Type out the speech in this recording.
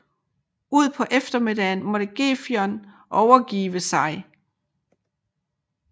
Ud på eftermiddagen måtte Gefion overgive sig